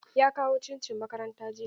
Ya kawo cincin makaranta jiya.